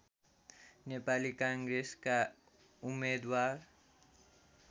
नेपाली काङ्ग्रेसका उम्मेदवार